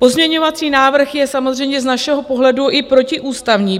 Pozměňovací návrh je samozřejmě z našeho pohledu i protiústavní.